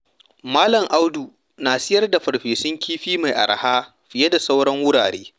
Malam Audu na sayar da farfesun kifi mai araha fiye da sauran wurare.